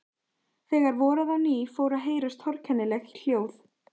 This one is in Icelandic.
Þegar voraði á ný fóru að heyrast torkennileg hljóð.